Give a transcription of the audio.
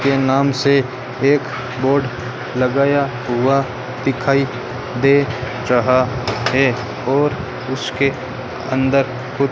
के नाम से एक बोर्ड लगाया हुआ दिखाई दे रहा है और उसके अंदर कुछ --